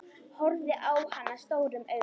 Horfði á hana stórum augum.